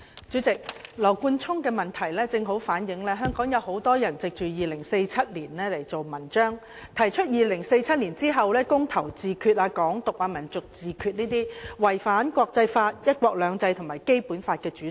主席，羅冠聰議員的質詢正好反映香港有很多人藉着2047年大造文章，提出在2047年後"公投自決"、"港獨"、"民族自決"等違反國際法、"一國兩制"及《基本法》的主張。